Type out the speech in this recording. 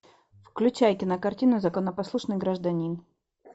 включай кинокартину законопослушный гражданин